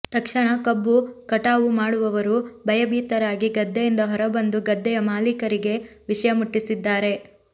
ತಕ್ಷಣ ಕಬ್ಬು ಕಟಾವು ಮಾಡುವವರು ಭಯಭೀತರಾಗಿ ಗದ್ದೆಯಿಂದ ಹೊರ ಬಂದು ಗದ್ದೆಯ ಮಾಲೀಕರಿಗೆ ವಿಷಯ ಮುಟ್ಟಿಸಿದ್ದಾರೆ